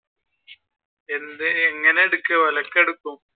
എന്ത് എങ്ങനെ എടുക്കും ഒലക്ക എടുക്കും.